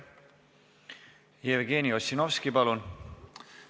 Jevgeni Ossinovski, palun!